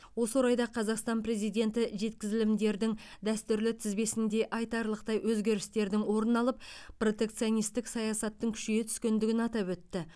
осы орайда қазақстан президенті жеткізілімдердің дәстүрлі тізбесінде айтарлықтай өзгерістердің орын алып протекционистік саясаттың күшейе түскендігін атап өтті